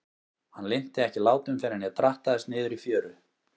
Hann linnti ekki látum fyrr en ég drattaðist niður í fjöru.